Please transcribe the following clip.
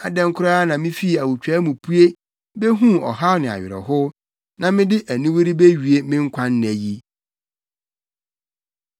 Adɛn koraa na mifii awotwaa mu pue behuu ɔhaw ne awerɛhow na mede aniwu rebewie me nkwa nna yi?